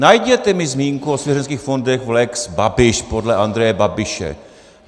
Najděte mi zmínku o svěřenských fondech v lex Babiš podle Andreje Babiše.